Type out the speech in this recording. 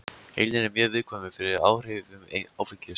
Heilinn er mjög viðkvæmur fyrir áhrifum áfengis.